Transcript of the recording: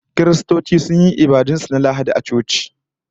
Kiristoci sun yi ibadun su na Lahadi a coci